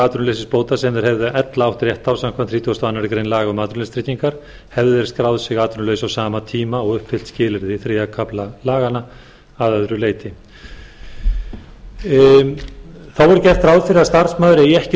atvinnuleysisbóta sem þeir hefðu ella átt rétt á samkvæmt þrítugustu og aðra grein laga um atvinnuleysistryggingar hefðu þeir skráð sig atvinnulausa á sama tíma og uppfyllt skilyrði þriðja kafla laganna að öðru leyti þó er gert ráð fyrir að starfsmaður eigi ekki